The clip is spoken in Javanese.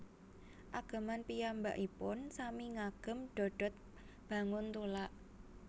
Ageman piyambakipun sami ngagem dodot banguntulak